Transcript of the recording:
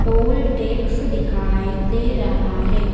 Toll tax दिखाई दे रहा है।